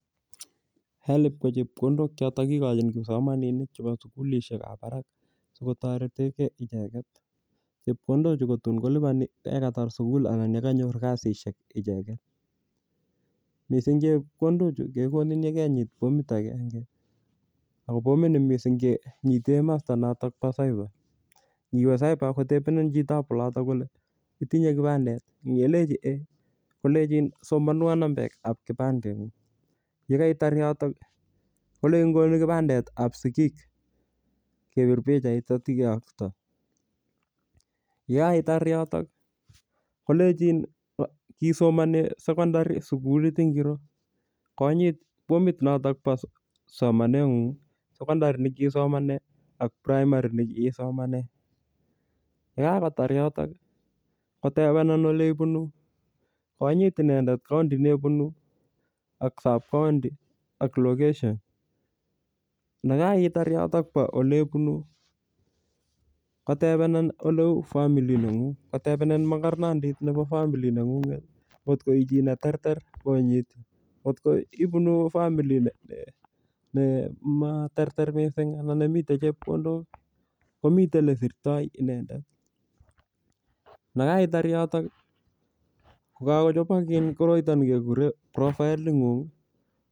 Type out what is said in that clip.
HELB ko chepkondok choton kikojin kipaomaminik chebo sugulishekab barak sikotoretekee icheket, chepkondochu kotun koliboni icheket yekatar sugul anan yekanyor kasishek icheket, missing' chepkondochu kekoni yon kenyit formit agenge ako formini kinyiten missing' komosto nebo  cyber ingiwe cyber ak kotebenen chitap oloton kole itinye kipandet ii ko yelenji ei kolenjin somonwon nambetab kipandengung, yekeitar yoto kolenjin konon kipandetab sigik kebir pichait ak ityo kiyokto yekeitar yoto kolenjin kiisomonen aecondary sugulit ingiro konyit formit noton nebo somanengung, Secondary nekiisomonen ak primary nekiisomonen, yekakotar yotok kotebenen eleibunu konyit inendet county nebunu ak sub county ak location nekeitar yoto elebunu, kotebenen eleu family nengung kotebenen mokornondit nebo family nengunget kot ko ichi neterter konyit kotko ibunu family nematerter missing' anan nemiten chepkondok komiten lesirto inendet nekeitar yoto kokochobok koroito nekekure profile nengung.